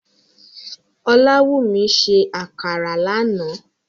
Olawúmí sẹ́ àkàrà lánà